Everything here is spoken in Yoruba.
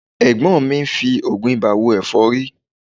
Ẹ̀gbọ́n mi ń fi oògùn ibà wo ẹ̀fọ́rí